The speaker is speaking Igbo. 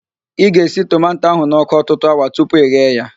Ị ga-esi tomanto ahụ n'ọkụ ọtụtụ awa tupu ị ghee ya